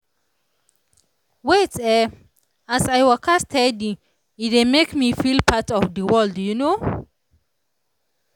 wait eh as i waka steady e dey make me feel part of the world you know